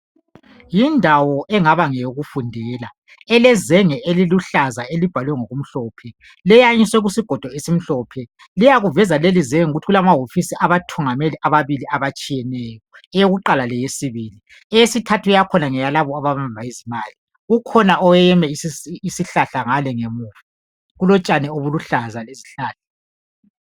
Yindawo engaba ngeyokufundela elezenge eliluhlaza elibhalwe ngokumhlophe leyanyiswe kusigodo esimhlophe liyakuveza lelizenge kulamawofisi abathungameli ababili amatshiyeneyo eyokuqala leyesibili eyesithathu yakhona ngeyalabo ababamba izimali kukhona oweyeme isihlahla ngale ngemuva kulotshani obuluhlaza.